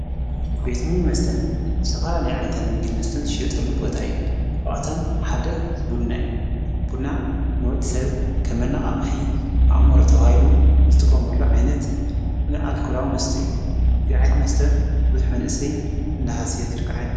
ቤትምን መስተን ሠፈላለይ ዓይንታት ምጊድ መስተን ሸጠሉ ቦታ እዩ ብቛቶም ሓደ ቡድና እዩ ቡና ንወድ ሰብ ከመናቓቕሒ ኣእሞር ተውሃይሉ ዝጥቖምሉ ዓይነት ንኣልኲላዊ መስተ እዩ ዝዚዓይት መስተ ርዙኅ መንእሰይ እንነሓስየ ዝርከ ዓይነት መስተ አዩ ::